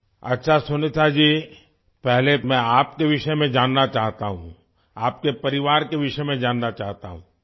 اچھا سنیتا جی، پہلے میں آپ کے بارے میں جاننا چاہتا ہوں، آپ کے خاندان کے بارے میں جاننا چاہتا ہوں